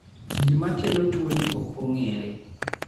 Gima kelo tuoni ok ong'ere.